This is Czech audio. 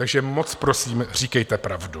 Takže moc prosím, říkejte pravdu.